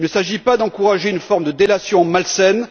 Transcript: Il ne s'agit pas d'encourager une forme de délation malsaine.